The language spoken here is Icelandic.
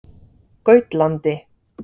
Gautlandi